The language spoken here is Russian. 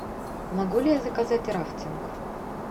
могу ли я заказать рафтинг